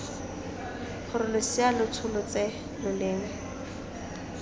gore losea lo tsholetse loleme